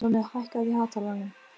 Nonni, hækkaðu í hátalaranum.